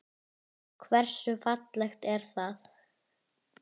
Hversu fallegt er það?